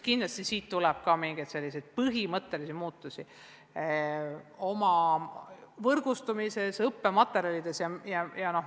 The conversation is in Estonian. Kindlasti tuleb ka sellest praegusest kogemusest mingisuguseid põhimõttelisi muutusi, näiteks seoses võrgustumise ja õppematerjalidega.